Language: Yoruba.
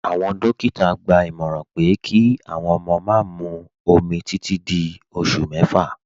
Awọn dòkítà gbà ìmọ̀ràn pé kí awọn ọmọ má mú òmì títì dí ọṣù mẹ́fà.